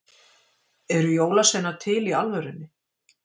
Eru jólasveinar til í alvörunni?